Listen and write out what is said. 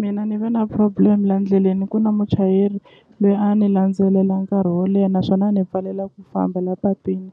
Mina ni ve na problem la ndleleni ku na muchayeri loyi a ni landzelela nkarhi wo leha naswona a ni pfalela ku famba la patwini